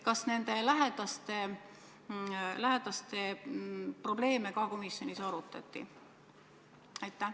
Kas lähedaste probleeme ka komisjonis arutati?